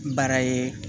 Bara ye